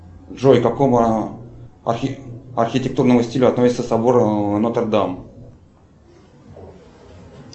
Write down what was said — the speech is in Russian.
джой к какому архитектурному стилю относится собор нотр дам